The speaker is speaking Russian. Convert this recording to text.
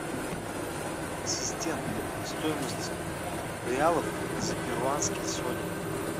ассистент стоимость реалов за перуанские соли